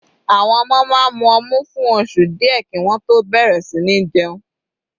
Àwọn ọmọ máa mu ọmu fún oṣù díẹ̀ kí wọ́n tó bẹ̀rẹ̀ sí ní jẹun.